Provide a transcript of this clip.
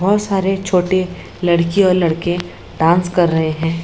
बहुत सारे छोटे लड़की और लड़के डांस कर रहे है।